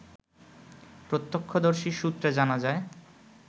প্রত্যক্ষদর্শী সূত্রে জানা যায়